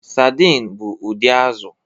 Saidin bụ ụdị azụ̀.